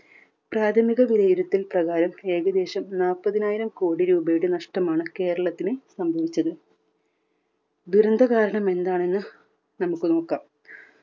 പ്രാഥമിക വിലയിരുത്തൽ പ്രകാരം ഏകദേശം നാല്പതിനായിരം കോടി രൂപയുടെ നഷ്ടമാണ് കേരളത്തിന് സംഭവിച്ചത്. ദുരന്ത കാരണം എന്താണെന്ന് നമുക്ക് നോക്കാം.